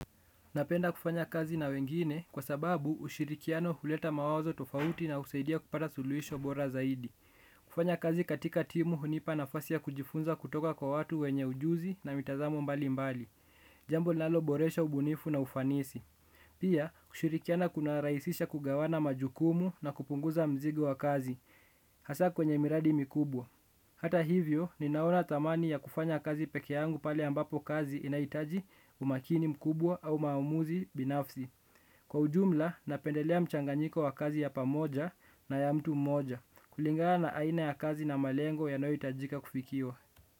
Napenda kufanya kazi na wengine kwa sababu ushirikiano huleta mawazo tofauti na usaidia kupata suluhisho bora zaidi. Kufanya kazi katika timu hunipa na fasi ya kujifunza kutoka kwa watu wenye ujuzi na mitazamo mbali mbali. Jambo linaloboresha ubunifu na ufanisi. Pia kushirikiana kuna raisisha kugawana majukumu na kupunguza mzigo wa kazi. Hasa kwenye miradi mikubwa. Hata hivyo, ninaona thamani ya kufanya kazi pekeyangu pale ambapo kazi inaitaji umakini mkubwa au maumuzi binafsi. Kwa ujumla, napendelea mchanganyiko wa kazi ya pamoja na ya mtu mmoja, kulingana na aina ya kazi na malengo yanoyitajika kufikiwa.